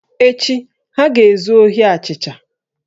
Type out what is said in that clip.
Echi, ha ga-ezu ohi achịcha